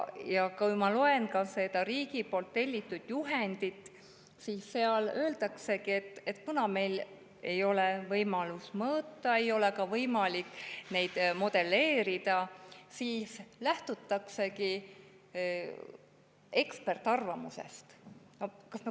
Ma loen ka sealt riigi tellitud juhendist, et kuna meil ei ole võimekust mõõta, siis ei ole ka võimalik seda modelleerida ja nii lähtutaksegi ekspertarvamusest.